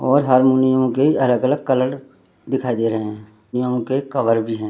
और हारमोनियम भी अलग-अलग कलर के दिखाई दे रहें हैं कहियों के कवर भी है।